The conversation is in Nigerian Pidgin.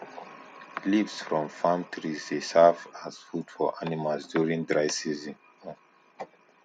leaves from farm trees dey serve as food for animals during dry season um